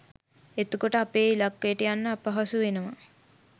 එතකොට අපේ ඉල්ලකයට යන්න අපහසු වෙනවා